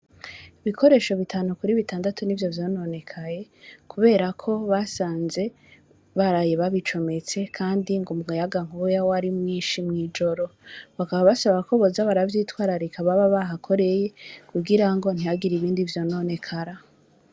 Ibikoresho bitanu kuri bitandatu nivyo vyononekaye kuberako basanze baraye babicometse kandi ngo umuyaga nkuba wari mwishi mw'ijoro bakaba basaba ko boza baravyitwararika baba bahakoreye kugira ntihagire ibindi vyonenekara.